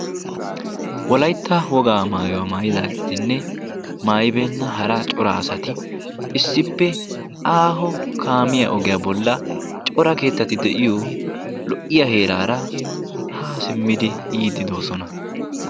Wolaytta woggaa mayuwaa mayidagettinne maayibena hara cora asatti issippe aaho kaamiyaa ogiyaa bola cora keettati de'iyo lo'iyaa heerara ha simiddi yiidi dosonna.